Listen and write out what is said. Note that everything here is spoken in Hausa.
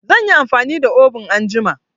Zan yi amfani da obun anjima.